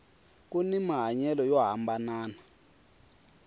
kuni mahanyelo yo hambanana